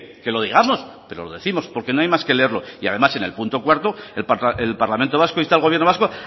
que lo digamos pero lo décimos porque no hay más que leerlo y además en el punto cuarto el parlamento vasco insta al gobierno vasco